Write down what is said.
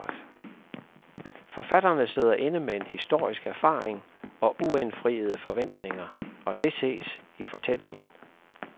Forfatterne sidder inde med en historisk erfaring og uindfriede forventninger, og det ses i fortællingen.